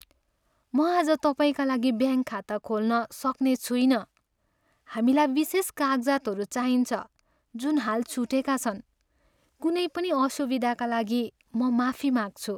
म आज तपाईँका लागि ब्याङ्क खाता खोल्न सक्ने छुइनँ। हामीलाई विशेष कागजातहरू चाहिन्छ जुन हाल छुटेका छन्। कुनै पनि असुविधाका लागि म माफी माग्छु।